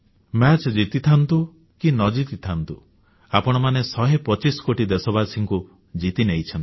ଖେଳ ଜିତିଥାନ୍ତୁ କି ନ ଜିତିଥାନ୍ତୁ ଆପଣମାନେ ଶହେ ପଚିଶ କୋଟି ଦେଶବାସୀଙ୍କୁ ଜିତିନେଇଛନ୍ତି